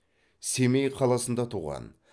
семей қаласында туған